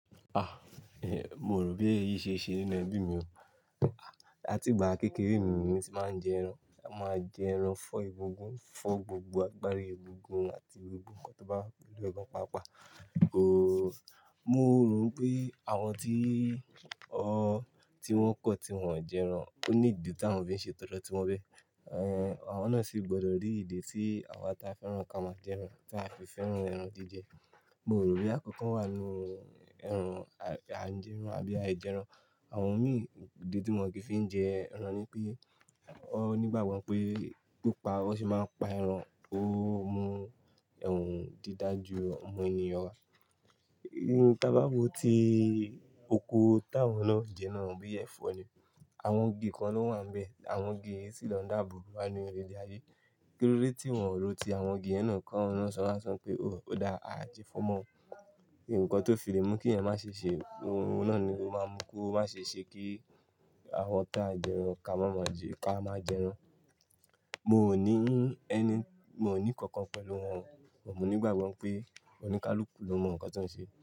Ah, eh, mò rò pé èyí ṣe é ṣe nínú ẹbí mi o. Ah, láti ìgbà kékeré mi ni mo ti máa ń jẹ ẹran. A máa jẹ ẹran fọ́ egungun, fọ́ gbogbo agbárí egungun àti egungun nǹkan tó bá wà pẹ̀lú ọdọ páa páà. Ooo, mo rò pé àwọn tí, o, tí wọ́n kọ́ tí wọ́n o jẹ ẹran ó ní ìdí tí àwọn fi ń ṣe tọ́dọ́ tí wọ́n bẹ́. Eh, àwọn náà sì gbọdọ̀ rí ìdí tí àwa ta fẹ́ràn ká máa jẹ ẹran, tí a fi fẹ́ràn ẹran jíjẹ. Mò rò boya nkankan wà nínú ẹran, a ń jẹ ẹran àbí aìjẹ ẹran. Àwọn mi, ìdí tí mòókìí fi ń jẹ ẹran ni pé, wọn nígbàgbọ́ pé pípa o sì máa ń pa ẹran o mú ẹhm dídà ju ọmọ ènìyàn wa. Ni tí a bá wo ti oko táwọn náà ń jẹ náà bí ẹ̀fọ́ ni. Àwọn igi kan ló wà níbẹ̀. Àwọn igi sì lọ dáàbò bò wá ni ilé aiye. Kílódé tí wọ́n ò ro ti àwọn igi yẹn náà káwọn náà ṣọlá sọ pé o dáa, a jẹ ẹfọ mọ́ o. Ǹkan tó fi lé mú kí èèyàn máa ṣe ṣe ohun náà ni o máa mú kó má ṣe ṣe kí àwọn tá jẹ ẹran ká mọ́ máa jẹ́ ká máa jẹ ẹran. Mo ò ní ẹni, mo ò ní kankan pẹ̀lú wọn. But mo nígbàgbọ́ pé oníkálukú ló mọ nǹkan tó ń ṣe.